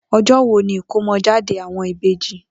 O̩jó̩ wo ni ìkómo̩jáde àwo̩n ìbejì?